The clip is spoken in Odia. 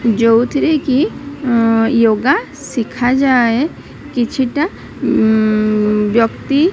ଯଉଥିରେକି ୟୋଗା ସିଖା ଯାଏ କିଛିଟା ଉଁ ଉଁ ବ୍ୟକ୍ତି --